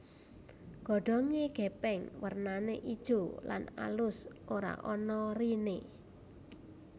Godhonge gepeng wernane ijo lan alus ora ana rine